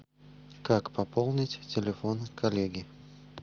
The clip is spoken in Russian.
как пополнить телефон коллеги